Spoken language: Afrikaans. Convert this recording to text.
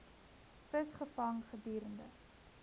vis gevang gedurende